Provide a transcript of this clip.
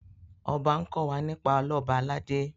ọba nkò wá nípa Ọlọba aládé